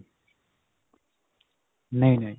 ਨਹੀਂ ਨਹੀਂ.